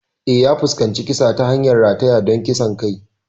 Eh, ya fuskanci kisa ta hanyar rataya don kisan kai.